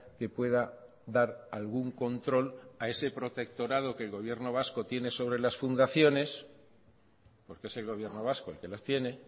que pueda dar algún control a ese protectorado que el gobierno vasco tiene sobre las fundaciones porque es el gobierno vasco el que las tiene